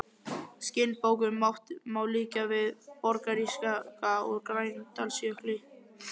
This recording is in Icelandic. Skinnbókunum má líkja við borgarísjaka úr Grænlandsjökli.